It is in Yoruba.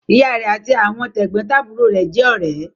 Ìyá rẹ̀ àti àwọn tẹ̀gbọ́ntàbúrò rẹ̀ jẹ́ ọ̀rẹ́.